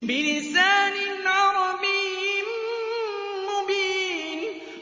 بِلِسَانٍ عَرَبِيٍّ مُّبِينٍ